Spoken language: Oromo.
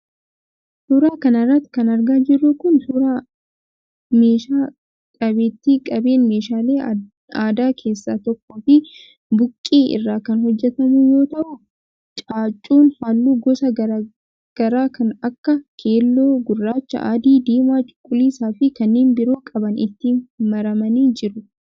Suura kana irratti kan argaa jirru kun, suura meeshaa qabeeti. Qabeen meeshaalee aadaa keessaa tokkoo fi buqqee irraa kan hojjatamu yoo ta'u, caaccuun haalluu gosa garaa kan akka :keelloo, gurraacha, adii ,diimaa, cuquliisaa fi kanneen biroo qaban itti maramanii jiru.